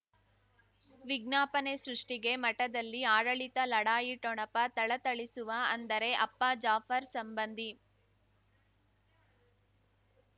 ವಿಜ್ಞಾಪನೆ ಸೃಷ್ಟಿಗೆ ಮಠದಲ್ಲಿ ಆಡಳಿತ ಲಢಾಯಿ ಠೊಣಪ ಥಳಥಳಿಸುವ ಅಂದರೆ ಅಪ್ಪ ಜಾಫರ್ ಸಂಬಂಧಿ